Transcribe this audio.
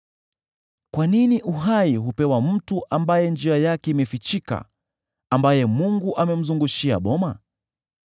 Kwa nini uhai hupewa mtu ambaye njia yake imefichika, ambaye Mungu amemzungushia boma?